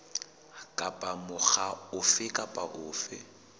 kapa mokga ofe kapa ofe